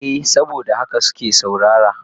Eh saboda haka suke saurara.